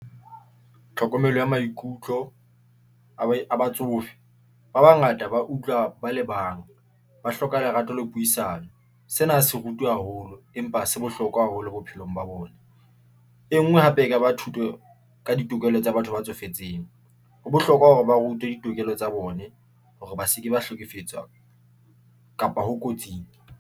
Tlhokomelo ya maikutlo a batsofe, ba bangata, ba utlwa ba le bang ba hloka lerato la puisano. Sena se rutuwe haholo, empa se bohlokwa haholo bophelong pelong ba bona. E nngwe hape, e ka ba thuswe ka ditokelo tsa batho ba tsofetseng, ho bohlokwa hore ba rutwe ditokelo tsa bone hore ba se ke ba hlekefetswa kapa ho kotsing.